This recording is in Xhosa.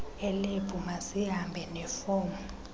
elebhu mazihambe nefomu